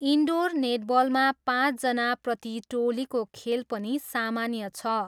Indoor नेटबलमा पाँचजना प्रति टोलीको खेल पनि सामान्य छ।